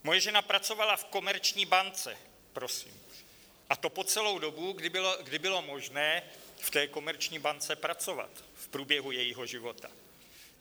Moje žena pracovala v Komerční bance, prosím, a to po celou dobu, kdy bylo možné v té Komerční bance pracovat v průběhu jejího života.